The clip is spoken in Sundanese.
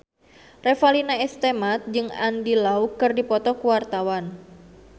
Revalina S. Temat jeung Andy Lau keur dipoto ku wartawan